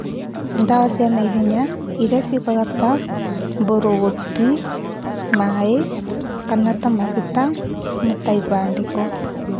Ndawa cia naihenya ĩrĩa ciũkaga ta mbũrũgũtũĩ, maĩ, kana ta maguta kama ibandĩko